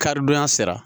Karidonya sera